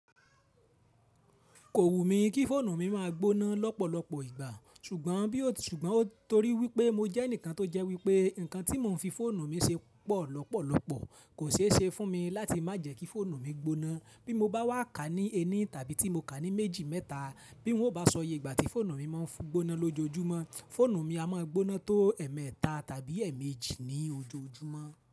Kò wù mí kí fóònù mi máa gbóná lọ́pọ̀lọpọ̀ ìgbà, ṣùgbọ́n torí wípé mo jẹ́ ẹnìkan tó jẹ́ wípé nkan tí mò ń fi fóònù mi ṣe pọ̀ lọ́pọ̀lọpọ̀, kò ṣe é ṣe fún mi láti má jẹ́ kí fóònù mi gbóná. Bí mo bá wà ká ní ẹní tàbí tí mo ká ní méjì mẹ́ta, bí wọn ò bá sọ yii ìgbà tí fóònù mi máa ń gbóná lójoojúmọ́, fóònù mi a máa gbóná tó ẹ̀ẹ̀mẹ́ta tàbí ẹ̀ẹ̀mejì ní ojoojúmọ́